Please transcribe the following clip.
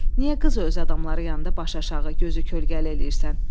Niyə qız öz adamları yanında başıaşağı, gözü kölgəli eləyirsən?